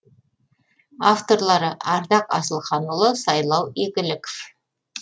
авторлары ардақ асылханұлы сайлау игіліков